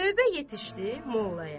Növbə yetişdi mollaya.